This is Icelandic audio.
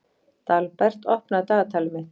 Dalbert, opnaðu dagatalið mitt.